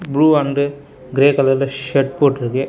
Blue and grey கலர்ல shed போட்டுருக்கு.